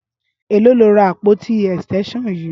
Éló ló rá ápótí ẹstẹnṣọn yi?